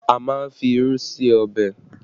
A má ń fi irú ṣe ọbẹ̀